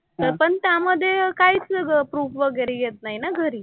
तर पण त्यामधे काहीच नाही अगं प्रूफ वगैरे येत नाही ना घरी.